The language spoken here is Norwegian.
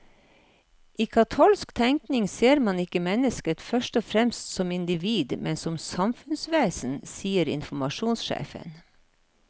I katolsk tenkning ser man ikke mennesket først og fremst som individ, men som samfunnsvesen, sier informasjonssjefen.